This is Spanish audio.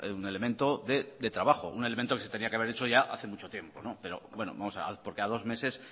un elemento de trabajo un elemento que se tenía que haber hecho hace ya mucho tiempo porque a dos meses